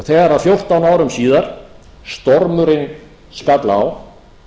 þegar fjórtán árum síðar stormurinn skall á